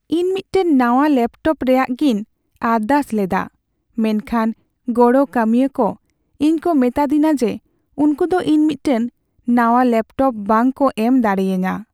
ᱤᱧ ᱢᱤᱫᱴᱟᱝ ᱱᱟᱣᱟ ᱞᱮᱯᱴᱚᱯ ᱨᱮᱭᱟᱜᱤᱧ ᱟᱨᱫᱟᱥ ᱞᱮᱫᱟ ᱢᱮᱱᱠᱷᱟᱱ ᱜᱚᱲᱚ ᱠᱟᱹᱢᱤᱭᱟᱹ ᱠᱚ ᱤᱧ ᱠᱚ ᱢᱮᱛᱟᱫᱤᱧᱟ ᱡᱮ ᱩᱝᱠᱩ ᱫᱚ ᱤᱧ ᱢᱤᱫᱴᱟᱝ ᱱᱟᱣᱟ ᱞᱮᱯᱴᱚᱯ ᱵᱟᱝ ᱠᱚ ᱮᱢ ᱫᱟᱲᱮᱭᱟᱹᱧᱟ ᱾